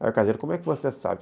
Aí o caseiro, como é que você sabe?